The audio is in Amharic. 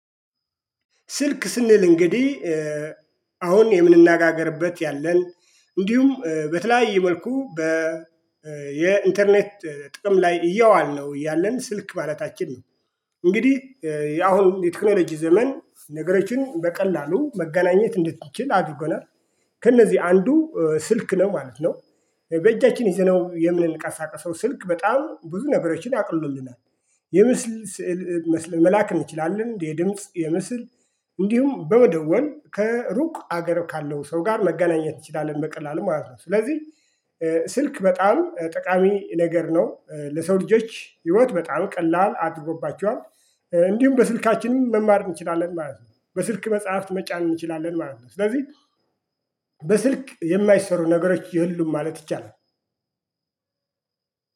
ስልክ ስንል እንግዲ አሁን የምንነጋገርበት ያለን እንዲውም በተለያየ መልኩ በ የኢንተርኔት ጥቅም ላይ እያዋልነው ያለን ስልክ ማለታችን ነው። እንግዲ ያሁን የቴክኖሎጂ ዘመን ነገሮችን በቀላሉ መገናኘት እንድንችል አድርጎናል ከእነዚ አንዱ ስልክ ነው ማለት ነው። በእጃችን ይዘነው የምንንቀሳቀሰው ስልክ በጣም ብዙ ነገሮችን አቅልሎልናል። የምስል ስዕል መላክ እንችላለን የድምጽ የምስል እንዲሁም በመደወል ከሩቅ አገር ካለው ሰው ጋር መገናኘት እንችላለን በቀላሉ ማለት ነው። ስለዚህ ስልክ በጣም ጠቃሚ ነገር ነው ለሰው ልጆች ህይወት በጣም ቀላል አድሮጎባቸዋል። እንዲውም በስልካችንም መማርም እንችላለን ማለት ነው። በስልክ መጽሐፍት መጫን እንችላለን ማለት ነው። ስለዚ በስልክ የማይሰሩ ነገሮች የሉም ማለት ይቻላል።